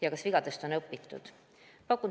Ja kas vigadest on õpitud?